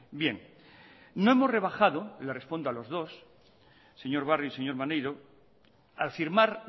bien no hemos rebajado les respondo a los dos señor barrio y señor maneiro al firmar